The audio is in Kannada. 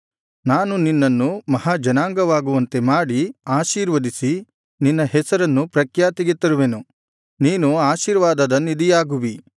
ನಾನು ನಿನ್ನನ್ನು ಮಹಾ ಜನಾಂಗವಾಗುವಂತೆ ಮಾಡಿ ಆಶೀರ್ವದಿಸಿ ನಿನ್ನ ಹೆಸರನ್ನು ಪ್ರಖ್ಯಾತಿಗೆ ತರುವೆನು ನೀನು ಆಶೀರ್ವಾದದ ನಿಧಿಯಾಗುವಿ